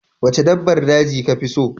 Wacce dabbar daji kafi so?